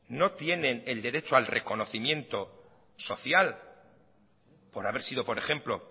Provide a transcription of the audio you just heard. no tienen el derecho al reconocimiento social por haber sido por ejemplo